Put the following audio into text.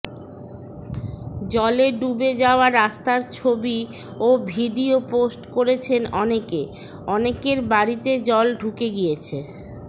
জলে ডুবে যাওয়া রাস্তার ছবি ও ভিডিও পোস্ট করেছেন অনেকে অনেকের বাড়িতে জল ঢুকে গিয়েছে